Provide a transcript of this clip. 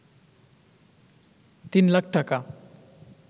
৩ লাখ টাকা